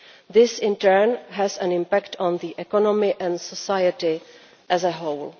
This in turn has an impact on the economy and society as a whole.